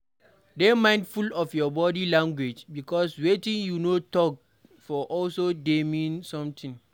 Dey mindful of your body language because wetin you no talk for also dey mean something